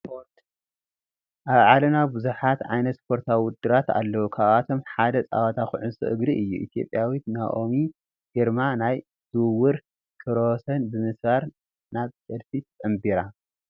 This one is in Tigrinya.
ስፓርት፡- ኣብ ዓለምና ብዙሓት ዓይነት ስፖርታዊ ውድድራት ኣለው፡፡ ካብኣቶም ሓደ ፀወታ ኩዕሶ እግሪ እዩ፡፡ ኢ/ዊት ናኦሚ ግርማ ናይ ዝውውር ክብረ ወሰን ብምስባር ናብ ቸልሲ ተፀምቢራ፡፡